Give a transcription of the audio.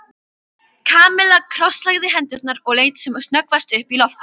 Kamilla krosslagði hendurnar og leit sem snöggvast upp í loftið.